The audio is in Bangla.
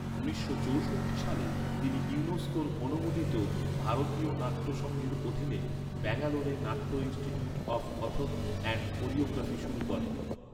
উনিশশো চৌষট্টি সালে তিনি ইউনেস্কোর অনুমোদিত, ভারতীয় নাট্য সংঘের অধীনে, ব্যাঙ্গালোরে নাট্য Institute of Kathak and Choreography শুরু করেন।